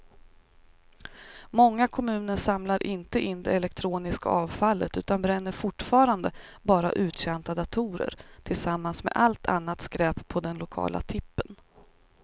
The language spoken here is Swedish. Många kommuner samlar inte in det elektroniska avfallet utan bränner fortfarande bara uttjänta datorer tillsammans med allt annat skräp på den lokala tippen.